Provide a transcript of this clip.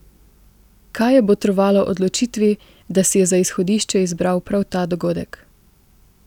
Kaj je botrovalo odločitvi, da si je za izhodišče izbral prav ta dogodek?